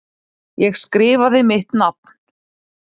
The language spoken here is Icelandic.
Ég skrifaði mitt nafn.